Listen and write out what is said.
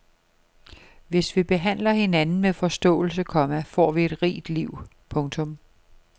Hvis vi behandler hinanden med forståelse, komma får vi et rigt liv. punktum